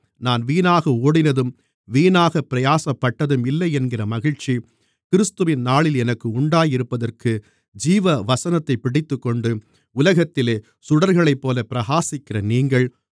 நான் வீணாக ஓடினதும் வீணாகப் பிரயாசப்பட்டதும் இல்லை என்கிற மகிழ்ச்சி கிறிஸ்துவின் நாளில் எனக்கு உண்டாயிருப்பதற்கு ஜீவவசனத்தைப் பிடித்துக்கொண்டு உலகத்திலே சுடர்களைப்போலப் பிரகாசிக்கிற நீங்கள்